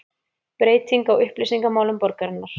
Breyting á upplýsingamálum borgarinnar